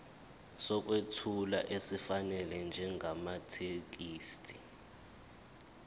sokwethula esifanele njengamathekisthi